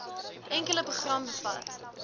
enkele program bevat